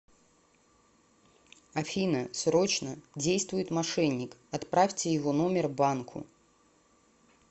афина срочно действует мошенник отправьте его номер банку